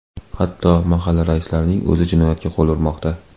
Hatto mahalla raislarining o‘zi jinoyatga qo‘l urmoqda.